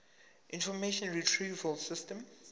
information retrieval system